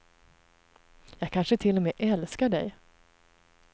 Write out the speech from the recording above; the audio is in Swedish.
Jag kanske till och med älskar dig.